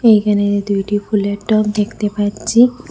এইখানে দুইটি ফুলের টব দেখতে পাচ্ছি।